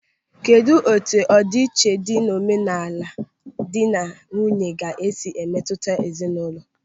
Kedụ etu ọdi iche dị n'omenala dị na nwunye ga-esi emetụta ezinaụlọ?